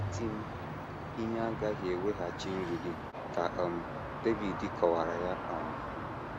“ Iti m ihe agaghị eweghachi nri gị, ” ka um David kọwaara ya. um